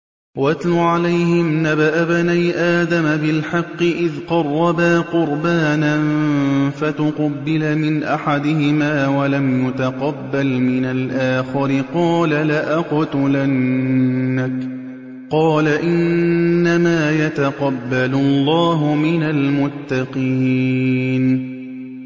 ۞ وَاتْلُ عَلَيْهِمْ نَبَأَ ابْنَيْ آدَمَ بِالْحَقِّ إِذْ قَرَّبَا قُرْبَانًا فَتُقُبِّلَ مِنْ أَحَدِهِمَا وَلَمْ يُتَقَبَّلْ مِنَ الْآخَرِ قَالَ لَأَقْتُلَنَّكَ ۖ قَالَ إِنَّمَا يَتَقَبَّلُ اللَّهُ مِنَ الْمُتَّقِينَ